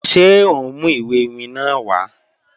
Ṣe o n mu iwe iwin naa wa?